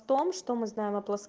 том что мы знаем